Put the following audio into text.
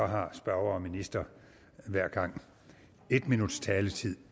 har spørger og minister hver gang en minuts taletid